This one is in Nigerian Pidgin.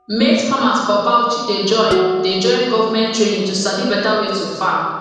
maize farmers for bauchi dey join dey join government training to sabi better way to farm